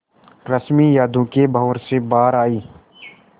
रश्मि यादों के भंवर से बाहर आई